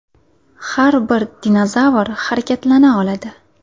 Har bir dinozavr harakatlana oladi.